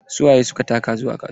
Su waye suka taka zuwa kasuwa?